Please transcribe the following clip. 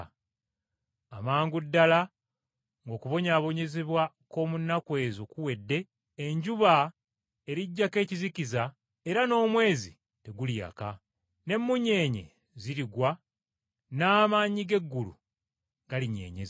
“Amangu ddala ng’okubonyaabonyezebwa “kw’omu nnaku ezo kuwedde, ‘enjuba eriggyako ekizikiza era n’omwezi teguliyaka, n’emmunyeenye zirigwa n’amaanyi g’eggulu galinyeenyezebwa.’ ”